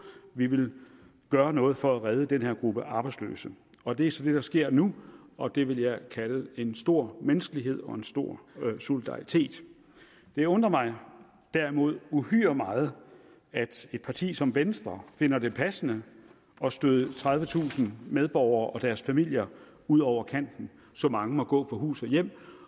vi vil gøre noget for at redde den her gruppe arbejdsløse og det er så det der sker nu og det vil jeg kalde en stor menneskelighed og en stor solidaritet det undrer mig derimod uhyre meget at et parti som venstre finder det passende at støde tredivetusind medborgere og deres familier ud over kanten så mange må gå fra hus og hjem